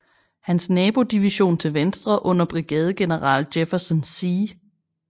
Hans nabodivision til venstre under brigadegeneral Jefferson C